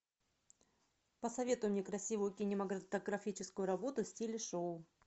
посоветуй мне красивую кинематографическую работу в стиле шоу